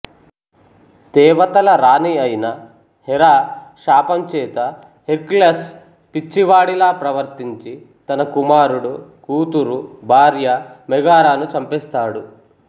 దేవతల రాణి అయిన హెరా శాపం చేత హెర్క్యులస్ పిచ్చివాడిలా ప్రవర్తించి తన కుమారుడు కూతురు భార్య మెగారాను చంపెస్తాడు